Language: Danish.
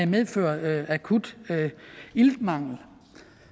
medføre akut iltmangel